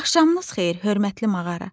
Axşamınız xeyir, hörmətli mağara.